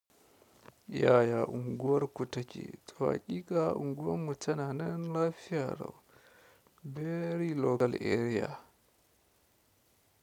Yaya unguwar ku take? To haƙiƙa unguwar mu tananan lafiya lau very local area.